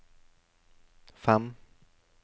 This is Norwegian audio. fem